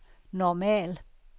normal